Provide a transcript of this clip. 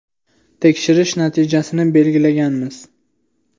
Tekshirish natijasini belgilaganmiz.